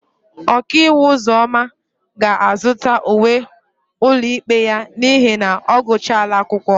Okaiwu Ụzọma ga-azụta uwe ụlọikpe ya n'ihi na ọ gụchala akwụkwọ.